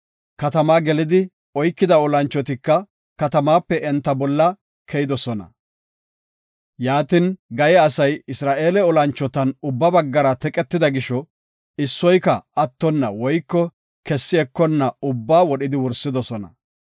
Katamaa gelidi oykida olanchotika katamaape enta bolla keyidosona. Yaatin, Gaye asay Isra7eele olanchotan ubba baggara teqetida gisho, issoyka attona woyko kessi ekonna ubbaa wodhidi wursidosona.